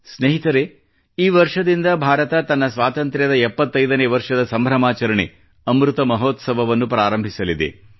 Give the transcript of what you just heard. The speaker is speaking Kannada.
ಸ್ನೇಹಿತರೆ ಈ ವರ್ಷದಿಂದ ಭಾರತ ತನ್ನ ಸ್ವಾತಂತ್ರ್ಯದ 75 ನೇ ವರ್ಷದ ಸಂಭ್ರಮಾಚರಣೆ ಅಮೃತ ಮಹೋತ್ಸವವನ್ನು ಪ್ರಾರಂಭಿಸಲಿದೆ